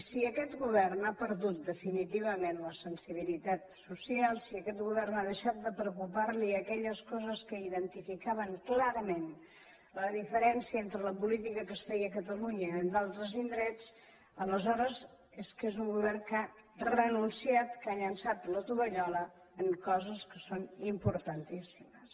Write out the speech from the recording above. si aquest govern ha perdut definitivament la sensibilitat social si a aquest govern han deixat de preocupar li aquelles coses que identificaven clarament la diferència entre la política que es feia a catalunya de la d’altres indrets aleshores és que és un govern que ha renunciat que ha llençat la tovallola en coses que són importantíssimes